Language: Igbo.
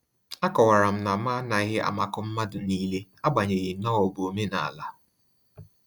A kọwara m na m anaghị amakọ mmadụ niile, agbanyeghi na-ọ bụ omenala